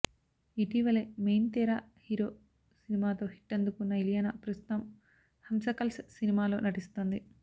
ఇటీవలే మెయిన్ తేరా హీరో సినిమాతో హిట్ అందుకున్న ఇలియానా ప్రస్తుతం హంశకల్స్ సినిమాలో నటిస్తోంది